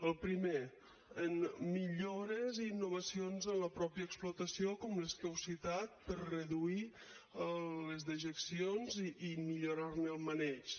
el primer millores i innovacions en la mateixa explotació com les que heu citat per reduir les dejeccions i millorar ne el maneig